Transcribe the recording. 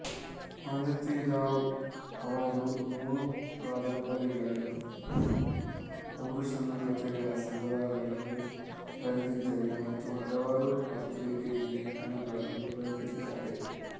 ಮಾಲತಿ ರಾವ್ ಅವರು ಮೂರು ಕಾದಂಬರಿಗಳನ್ನು ಮೂರು ಸಣ್ಣ ಕಥೆಗಳ ಸಂಗ್ರಹಗಳನ್ನು ಬರೆದಿದ್ದಾರೆ ಮತ್ತು ಹಲವಾರು ಪತ್ರಿಕೆ ಲೇಖನಗಳನ್ನು ಬರೆದಿದ್ದಾರೆ